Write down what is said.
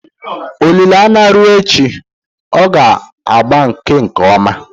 olile anya rue echi, ọ ga agbake nkem oma